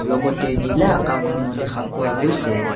লগতে নীলা আকাশখনো দেখা পোৱা গৈছে।